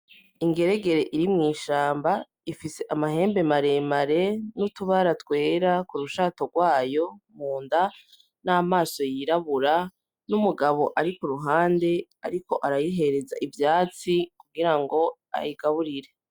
Ingeregere iri mu ishamba ifise amahembe maremare n'utubara twera ku rushato rwayo munda n'amaso yirabura n'umugabo ari kuruhande ariko arayihereza ivyatsi kugira ngo ayigaburire.